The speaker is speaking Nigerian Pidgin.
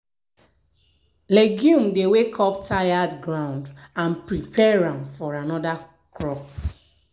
legume dey wake up tired ground and prepare am for another crop.